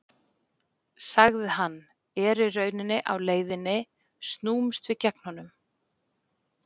sagði hann, er í rauninni á leiðinni snúumst við gegn honum